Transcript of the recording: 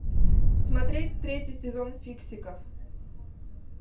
смотреть третий сезон фиксиков